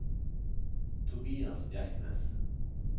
Tobias Bjerknes